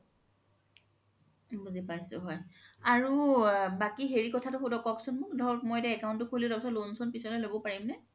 বুজি পাইছো হয় আৰু বাকি হেৰি কথাতো কওক্চোন মোক ধৰক মই এতিয়া account তো খুলি লৈছো loan চন পিছ্লৈ লব পৰিম নে